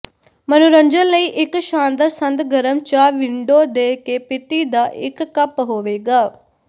ਮਨੋਰੰਜਨ ਲਈ ਇਕ ਸ਼ਾਨਦਾਰ ਸੰਦ ਗਰਮ ਚਾਹ ਵਿੰਡੋ ਦੇ ਕੇ ਪੀਤੀ ਦਾ ਇੱਕ ਕੱਪ ਹੋਵੇਗਾ